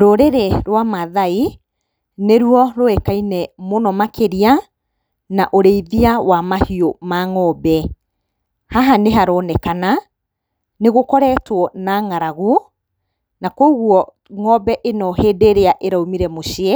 Rũrĩrĩ rwa Maathai nĩ ruo rũĩkaine mũno makĩria na ũrĩithia wa mahiũ ma ngombe. Haha nĩ haronekana nĩ gũkoretwo na ng'aragu, na kũguo ng'ombe ĩno hĩndĩ ĩrĩa ĩraumire mũciĩ